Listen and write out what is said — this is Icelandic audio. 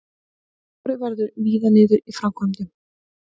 Skorið verður víðar niður í framkvæmdum